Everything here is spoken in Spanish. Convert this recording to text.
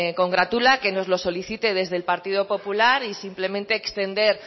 congratula que nos lo solicite desde el partido popular y simplemente extender